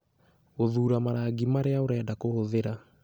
Gũthuura marangi marĩa ũrenda kũhũthĩra.